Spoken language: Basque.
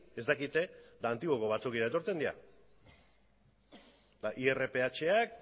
ez dakite eta antiguoko batzokira etortzen dira eta irphak